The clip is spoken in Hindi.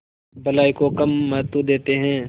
भलाई को कम महत्व देते हैं